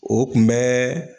O kun bɛɛ